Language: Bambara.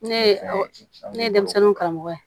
Ne ye ne ye denmisɛnninw karamɔgɔ ye